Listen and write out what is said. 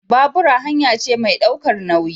Babura hanya ce mai ɗaukar nauyi